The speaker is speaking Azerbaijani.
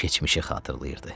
Keçmişi xatırlayırdı.